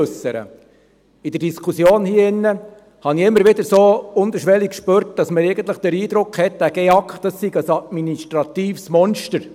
In der Diskussion hier drin spürte ich immer wieder so unterschwellig, dass man eigentlich den Eindruck hat, der GEAK sei ein administratives Monster.